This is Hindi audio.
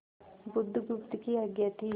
बुधगुप्त की आज्ञा थी